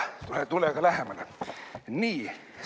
Tule-tule aga lähemale!